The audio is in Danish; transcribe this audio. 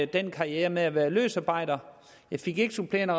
den karriere med at være løsarbejder jeg fik ikke supplerende